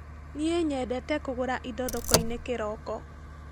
Niĩ nyendete kũgũra indo thokoinĩ kĩroko.